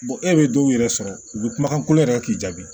e bɛ dɔw yɛrɛ sɔrɔ u bɛ kumakan kolon yɛrɛ k'i jaabi